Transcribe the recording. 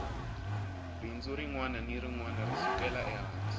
bindzu rinwana ni rinwana ri sukela ehansi